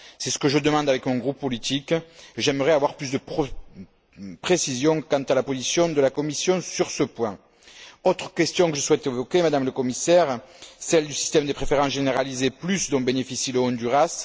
C'est ce que je demande avec mon groupe politique, mais j'aimerais avoir plus de précisions quant à la position de la Commission sur ce point. Une autre question que je souhaite évoquer, Madame le Commissaire, est celle du système des préférences généralisées plus dont bénéficie le Honduras.